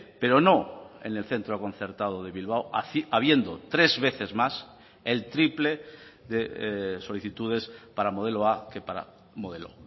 pero no en el centro concertado de bilbao habiendo tres veces más el triple de solicitudes para modelo a que para modelo